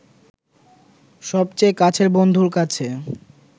সবচেয়ে কাছের বন্ধুর কাছে